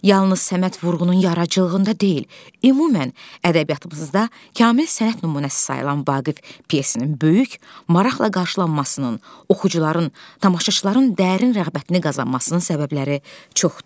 Yalnız Səməd Vurğunun yaradıcılığında deyil, ümumən ədəbiyyatımızda kamil sənət nümunəsi sayılan Vaqif pyesinin böyük, maraqla qarşılanmasının, oxucuların, tamaşaçıların dərin rəğbətini qazanmasının səbəbləri çoxdur.